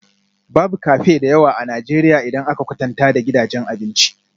Babu cafe da yawa a Najeriya idan aka kwatanta da gidajen abinci